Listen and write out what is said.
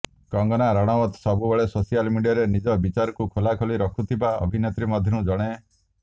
Kangana Ranaut social ସୋସିଆଲ୍ ମିଡିଆରେ ନିଜ ବିଚାରକୁ ଖୋଲାଖୋଲି ରଖୁଥିବା ଅଭିନେତ୍ରୀ ମଧ୍ୟରୁ ଜଣେ